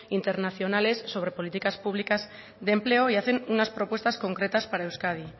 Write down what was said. internacionales sobre políticas públicas de empleo y hacen unas propuestas concretas para euskadi